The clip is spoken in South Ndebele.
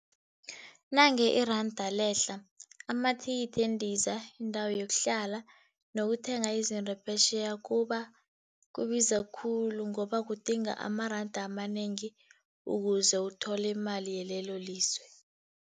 Nange iranda lehla, amathikithi wendiza, indawo yokuhlala nokuthenga izinto phetjheya kubiza khulu ngoba kudinga amaranda amanengi ukuze uthole imali yalelolizwe.